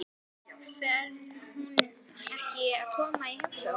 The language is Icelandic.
Fer hún ekki að koma í heimsókn?